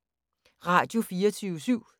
Radio24syv